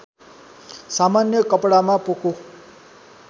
सामान्य कपडामा पोको